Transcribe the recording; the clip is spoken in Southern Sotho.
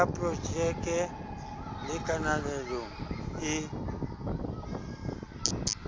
ya projekte le kananelong e